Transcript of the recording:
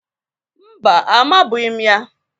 Mba, amabụghị m ya